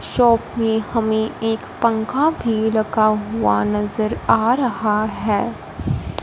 Shop में हमें एक पंखा भी रखा हुआ नजर आ रहा हैं।